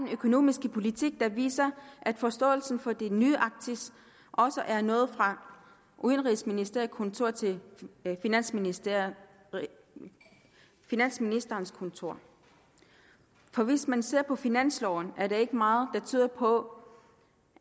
økonomiske politik der viser at forståelsen for det nye arktis også er nået fra udenrigsministerens kontor til finansministerens finansministerens kontor for hvis man ser på finansloven er der ikke meget der tyder på